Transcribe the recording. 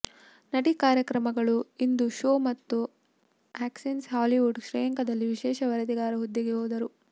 ನಟಿ ಕಾರ್ಯಕ್ರಮಗಳು ಇಂದು ಶೊ ಮತ್ತು ಆಕ್ಸೆಸ್ ಹಾಲಿವುಡ್ ಶ್ರೇಯಾಂಕದಲ್ಲಿ ವಿಶೇಷ ವರದಿಗಾರ ಹುದ್ದೆಗೆ ಹೋದರು